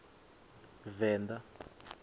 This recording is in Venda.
venḓa